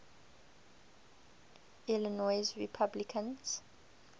illinois republicans